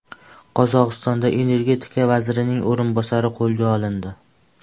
Qozog‘istonda energetika vazirining o‘rinbosari qo‘lga olindi.